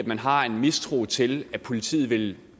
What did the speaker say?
man har en mistro til at politiet vil